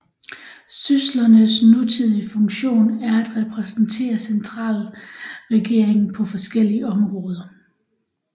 Syslernes nutidige funktion er at repræsentere centralregeringen på forskellige områder